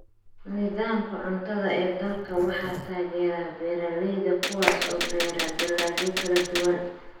Nidaamka cuntada ee dalka waxaa taageera beeralayda kuwaas oo beera dalagyo kala duwan.